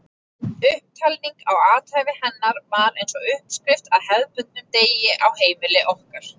Upptalningin á athæfi hennar var eins og uppskrift að hefðbundnum degi á heimili okkar.